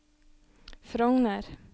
Frogner